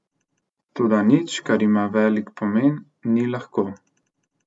Toda nič, kar ima velik pomen, ni lahko.